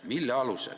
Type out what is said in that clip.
Mille alusel?